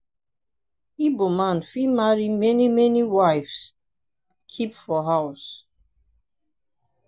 igbo man fit marry many many wive keep for house.